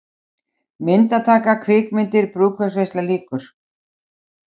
MYNDATAKA, KVIKMYNDIR, BRÚÐKAUPSVEISLA LÝKUR